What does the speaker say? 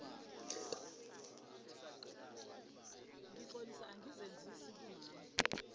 ngixolisa angizenzisi kumama